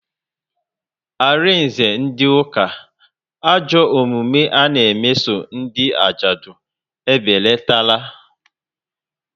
Arinze ndị ụka, ajọ omume ana meso ndị ajadu ebelatatara